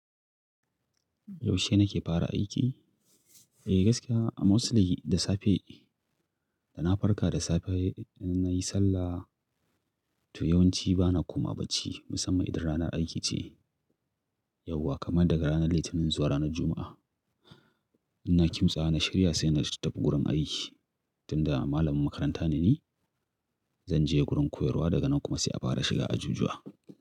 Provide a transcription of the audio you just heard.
Yaushe nake fara aiki? Eh gaskiya a musl da safe, dana farka da safe nayi sallah. To yawanci bana komawa bacci musamman idan ranar aiki ce. Yauwa kamar daga ranar Litinin zuwa ranar Juma'a. Ina kimtsawa na shirya saina tafi gurin aiki. Tunda malamin makaranta neni, zanje gurin koyarwa daga nan kuma sai a fara shiga ajujuwa.